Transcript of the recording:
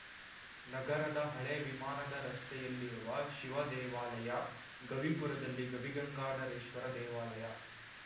ನಗರದ ಹಳೇ ವಿಮಾನದ ರಸ್ತೆಯಲ್ಲಿರುವ ಶಿವ ದೇವಾಲಯ ಗವಿಪುರದಲ್ಲಿ ಗವಿಗಂಗಾದೇಶ್ವರ ದೇವಾಲಯ